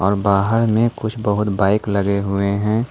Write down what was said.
बाहर में कुछ बहुत बाइक लगे हुए हैं।